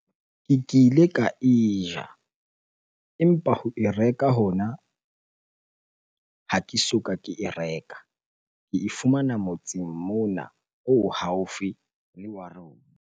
Ke kile ka e ja empa ho e reka hona ha ke soka ke e reka. Ke e fumana motseng mona o haufi le wa rona.